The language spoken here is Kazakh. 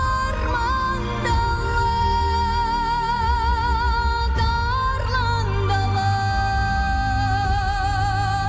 арман дала тарлан дала